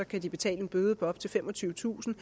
betale en bøde på op til femogtyvetusind